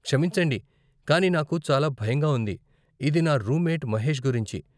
క్షమించండి, కానీ నాకు చాలా భయంగా ఉంది, ఇది నా రూమ్మేట్ మహేష్ గురించి.